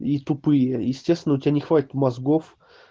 и тупые естественно у тебя не хватит мозгов